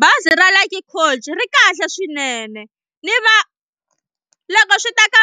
Bazi ra Luxy coach ri kahle swinene ni va loko swi ta ka